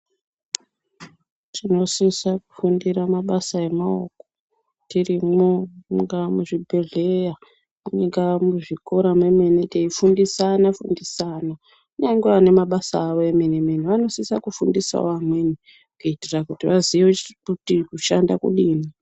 Tinosisa kufundira mabasa emaoko tirimwo mungaa muzvibhedhleya munga muzvikora memene, teifundisana fundisana kunyange vane mabasa avo emene-mene vanosisa kufundisavo amweni. Kuitira kuti vazive kuti kushanda kudini.